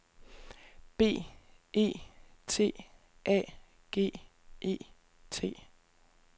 B E T A G E T